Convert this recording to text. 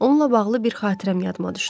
Onunla bağlı bir xatirəm yadıma düşdü.